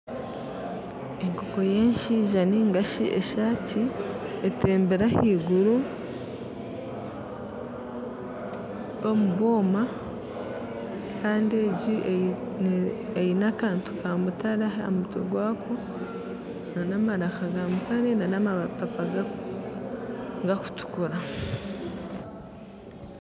Enkoko y'enshaija ningashi enshaaki etembire ahaiguru omu bwoma kandi egi eine akantu ka mutare aha mutwe gwayo n'amaraka ga mutare n'amapapa garikutukura.